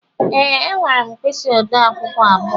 Ee, enwere m mkpisi ode akwukwo abụọ.